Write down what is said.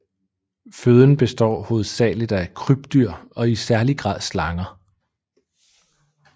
Føden består hovedsageligt af krybdyr og i særlig grad slanger